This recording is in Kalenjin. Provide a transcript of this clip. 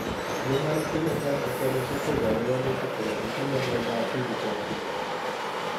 Human Phenotype Ontology koporu wolutik kole itinye Miondap Pili torti.